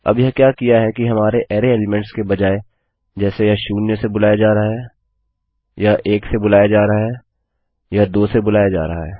अब यह क्या किया है कि हमारे अरै एलीमेंट्स के बजाय जैसे यह शून्य से बुलाया जा रहा है यह एक से बुलाया जा रहा है यह दो से बुलाया जा रहा है